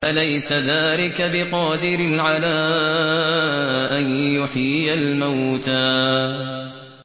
أَلَيْسَ ذَٰلِكَ بِقَادِرٍ عَلَىٰ أَن يُحْيِيَ الْمَوْتَىٰ